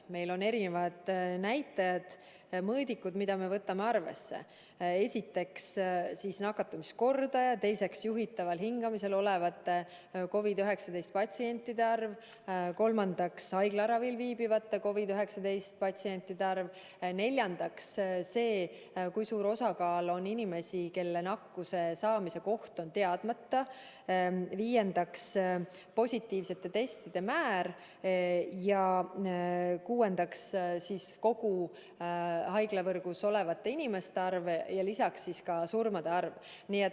Meil on mitmesuguseid näitajaid-mõõdikuid, mida võtame arvesse: esiteks, nakatumiskordaja; teiseks, juhitaval hingamisel olevate COVID-19 patsientide arv; kolmandaks, haiglaravil viibivate COVID-19 patsientide arv; neljandaks see, kui suur osakaal on neid inimesi, kelle nakkuse saamise koht on teadmata; viiendaks, positiivsete testide määr; kuuendaks, kogu haiglavõrgus olevate inimeste arv ja lisaks surmade arv.